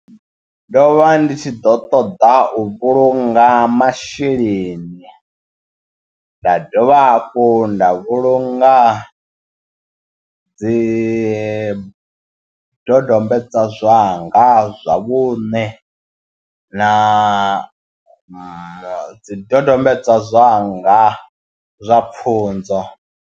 Ndo vha ndi tshi ḓo ṱoḓa u vhulunga masheleni nda dovha hafhu nda vhulunga dzi dodombedzwa zwanga zwa vhune na dzi dodombedzwa zwanga zwa pfhunzo.